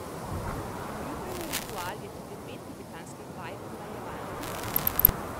Moj jutranji ritual je tudi pet tibetanskih vaj pomlajevanja.